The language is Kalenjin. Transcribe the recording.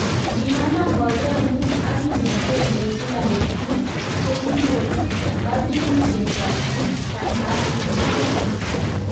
Kinamaa boyot nyun ak kimnanet eng kila petut chekikoo katunisiet ap kasimchinet